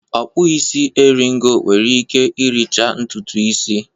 Ọ kpụ isi eri ngo nwere ike ịricha ntutu ịsị.